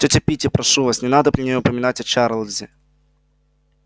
тётя питти прошу вас не надо при ней упоминать о чарлзе